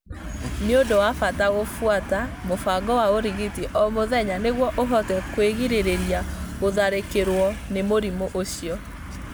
Nĩ ũndũ wa bata kũbũata mũbango wa ũrigiti o mũthenya nĩguo ũhote kwĩgirĩrĩria gũtharĩkĩrũo nĩ mũrimũ ũcio.